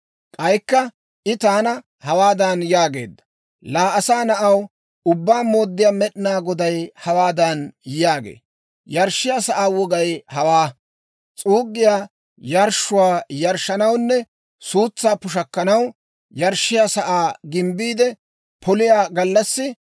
K'aykka I taana hawaadan yaageedda; «Laa asaa na'aw, Ubbaa Mooddiyaa Med'inaa Goday hawaadan yaagee; ‹Yarshshiyaa sa'aa wogay hawaa. S'uuggiyaa yarshshuwaa yarshshanawunne suutsaa pushakkaw, yarshshiyaa sa'aa gimbbiide poliyaa gallassi,